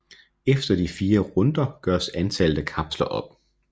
Efter de 4 runder gøres antallet af kapsler op